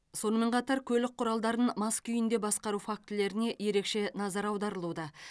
сонымен қатар көлік құралдарын мас күйінде басқару фактілеріне ерекше назар аударылуда